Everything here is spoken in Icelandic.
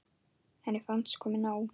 Henni fannst komið nóg.